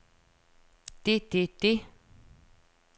det det det